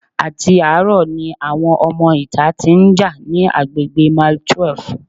Àti àárọ̀ ni àwọn ọmọ ìta tí ń já ní agbègbè mile twelve.